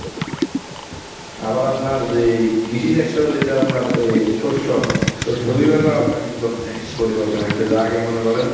আবার আপনার যেই কৃষি sector যেটা আপনার এ শস্য শস্য আপনার কিন্তু অনেক পরিবর্তন আসতেসে আগে মনে করেন।